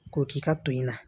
K'o k'i ka to in na